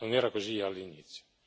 Non era così all'inizio.